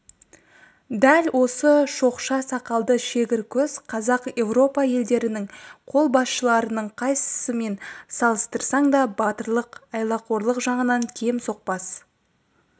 дәл осы шоқша сақалды шегір көз қазақ европа елдерінің қолбасшыларының қайсысымен салыстырсаң да батырлық айлақорлық жағынан кем соқпас